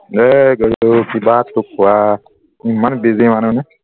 এ গৰুটো কিবাটো কোৱাটো ইমান busy মানুহ নে